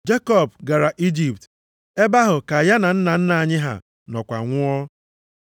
Jekọb gara Ijipt. Ebe ahụ ka ya na nna nna anyị ha nọkwa nwụọ.